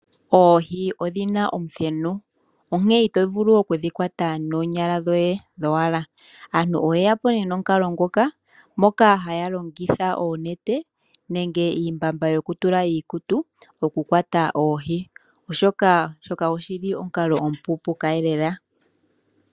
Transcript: Oohi odhina omuthenu . Onkene ito vulu oku dhikwata noonyala dhoye dhowala . Aantu oye yapo nomukalo ngoka moka haya longitha oonete nenge iimbamba yoku tula iikutu oku kwata oohi . Oshoka oshili omukalo omu pu pu ka elela .